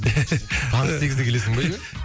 таңғы сегізде келесің бе үйге